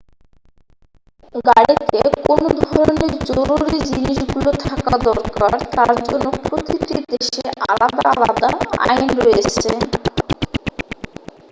গাড়িতে কোন ধরণের জরুরি জিনিসগুলি থাকা দরকার তার জন্য প্রতিটি দেশে আলাদা আলাদা আইন রয়েছে